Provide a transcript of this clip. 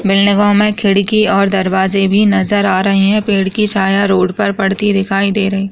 Building में हमें खिड़की और दरवाजे भी नजर आ रहे हैं पेड़ की छाया रोड पर पड़ती हुई दिखाई दे रही है।